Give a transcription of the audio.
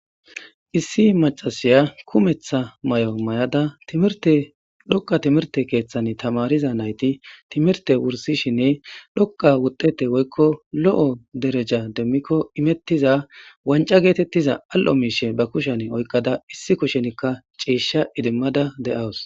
issi macasiya kumetha may7o may7ada tilokka timirte keeththan tamariza nayti timirte wursishinne qa wudete woykko lo7o dereja demmikko imettiza wanca geetettiza al7o miishe ba kushen oykkada issi kushenikka ciisha idimmada de7awus